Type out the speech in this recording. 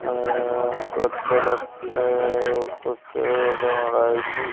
ୟେଁ କତର ୟେଁ ପୋଷ୍ଟର୍ ଗୋଟେ ମରା ହେଇଛି।